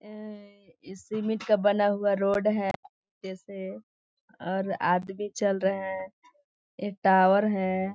ये सीमेंट का बना हुआ रोड है जैसे और आदमी चल रहा है ये टावर हैं ।